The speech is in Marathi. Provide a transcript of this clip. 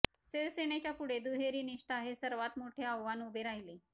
शिवसेनेच्यापुढे दुहेरी निष्ठा हे सर्वांत मोठे आव्हान उभे राहिले